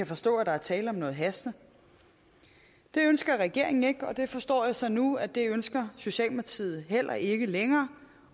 forstå at der var tale om noget hastende det ønsker regeringen ikke og jeg forstår så nu at det ønsker socialdemokratiet heller ikke længere